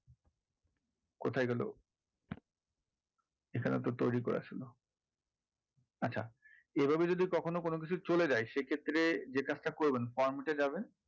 কোথায় গেলো এখানে তো তৈরি করা ছিল আচ্ছা এভাবে যদি কখনো কোনো কিছু চলে যায় সেক্ষেত্রে যে কাজটা করবেন format এ যাবেন,